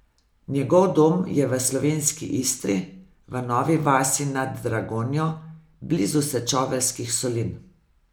Njegov dom je v slovenski Istri, v Novi vasi nad Dragonjo, blizu sečoveljskih solin.